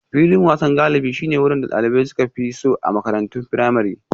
Filin wasan galibi shine wurin da dalibai suka fi so a makarantun firamare.